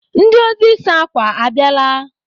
Ndị ozi ịsa akwa a bịala?